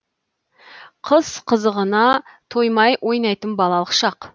қыс қызығына тоймай ойнайтын балалық шақ